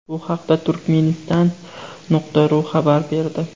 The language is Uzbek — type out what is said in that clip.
Bu haqda Turkmenistan.ru xabar berdi .